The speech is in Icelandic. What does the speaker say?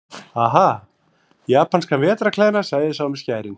Aha, japanskan vetrarklæðnað, sagði sá með skærin.